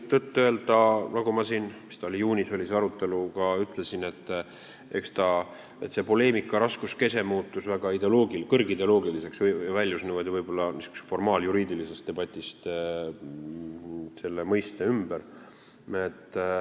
Tõtt-öelda, nagu ma siin – juunis oli see arutelu – ütlesin, et poleemika raskuskese muutus väga kõrgideoloogiliseks, väljus võib-olla formaaljuriidilisest debatist selle mõiste ümber.